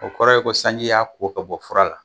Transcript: O kɔrɔ ye ko sanji y'a ko ka bɔ fura la.